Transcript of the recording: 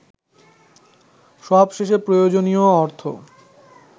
সবশেষে প্রয়োজনীয় অর্থ